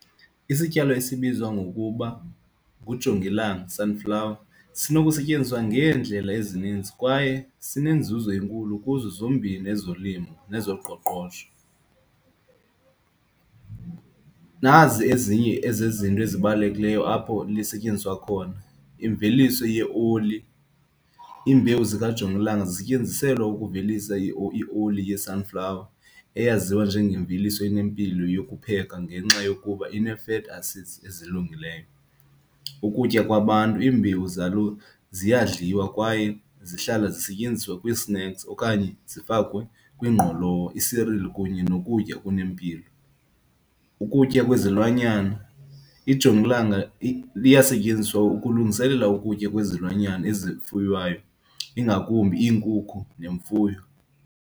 Isityalo esibizwa ngokuba ngujongilanga, sunflower, sinokusetyenziswa ngeendlela ezininzi kwaye sinenzuzo enkulu kuzo zombini ezolimo nezoqoqosho. Nazi ezinye ezezinto ezibalulekileyo apho lisetyenziswa khona, imveliso yeoli. Iimbewu zikajongilanga zisetyenziselwa ukuvelisa ioli ye-sunflower eyaziwa njengemveliso enempilo yokupheka ngenxa yokuba inee-fatty acids ezilungileyo. Ukutya kwabantu, iimbewu zalo ziyadlalwa kwaye zihlala zisetyenziswa kwi-snacks okanye zifakwe kwingqolowa, i-cereal kunye nokutya okunempilo. Ukutya kwezilwanyana, ijongilanga liyasetyenziswa ukulungiselela ukutya kwezilwanyana ezifuyiweyo ingakumbi iinkukhu nemfuyo.